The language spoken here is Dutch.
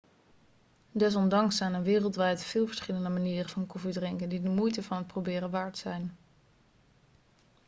desondanks zijn er wereldwijd veel verschillende manieren van koffie drinken die de moeite van het proberen waard zijn